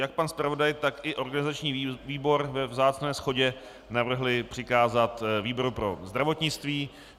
Jak pan zpravodaj, tak i organizační výbor ve vzácné shodě navrhli přikázat výboru pro zdravotnictví.